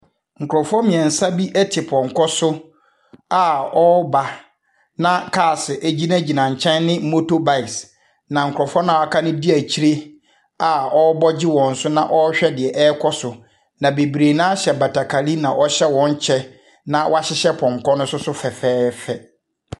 Nkurɔfoɔ mmeɛnsa bi te pɔnkɔ so a wɔreba, na aase gyinagyina nkyɛn ne motorbikes, na nkurɔfoɔ no a wɔaka no di akyire a wɔrebɔ gye wɔn so na wɔrehwɛ deɛ ɛrekɔ so, na bebree no ara hyɛ batakari na wɔhyɛ wɔn kyɛ, na wɔahyehyɛ pɔnkɔ no nso so fɛɛfɛɛfɛ.